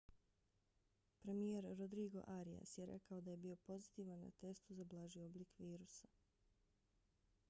premijer rodrigo arias je rekao da je bio pozitivan na testu za blaži oblik virusa